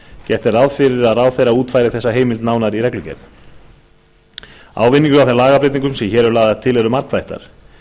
gert er ráð fyrir að ráðherra útfæri þessa heimild nánar í reglugerð ávinningur af þeim lagabreytingum sem hér eru lagðar til er margþættur